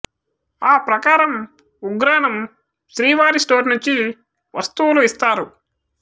ఆ ప్రకారం ఉగ్రాణం శ్రీవారి స్టోర్ నుంచి వస్తువులు ఇస్తారు